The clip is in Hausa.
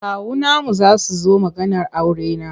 Kawunanmu za su zo maganar aurena.